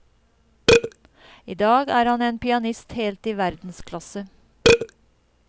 I dag er han en pianist helt i verdensklasse.